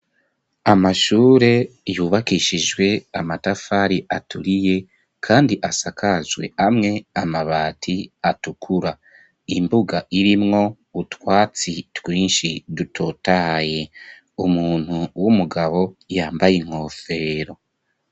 Amashure yubakishijwe amatafari aturiye kandi asakajwe amwe amabati atukura imbuga irimwo butwatsi twinshi dutotaye umuntu w'umugabo yambaye inkofero.